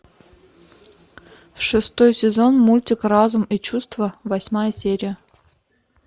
шестой сезон мультик разум и чувства восьмая серия